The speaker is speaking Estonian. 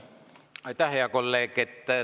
Aitäh, hea kolleeg!